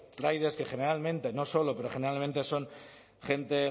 riders que generalmente no solo pero generalmente son gente